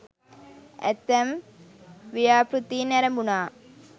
ඇතැම් ව්‍යාපෘතීන් ඇරැඹුණා.